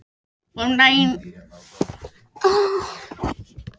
Friðbjörg, hvaða vikudagur er í dag?